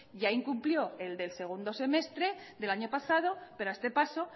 ya incumplió el del segundo semestre del año pasado pero a este paso